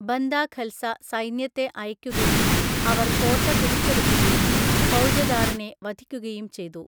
Banda Khalsa സൈന്യത്തെ അയക്കുകയും അവർ കോട്ട പിടിച്ചെടുക്കുകയും ഫൗജദാറിനെ വധിക്കുകയും ചെയ്തു.